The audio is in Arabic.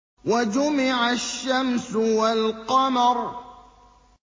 وَجُمِعَ الشَّمْسُ وَالْقَمَرُ